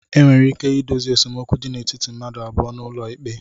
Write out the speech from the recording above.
Enwere ike ịdozi esemokwu dị n'etiti mmadụ abụọ n'ụlọ ikpe